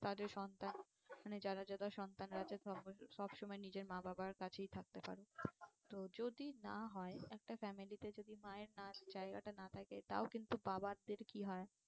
তাদের সন্তান মানে যারা যারা সন্তান সমস্ত সব সময় নিজের মা বাবার কাছেই থাকতে পারে। তো যদি না হয় একটা family তে যদি মায়ের না জায়গাটা না থাকে তাও কিন্তু বাবাদের কি হয়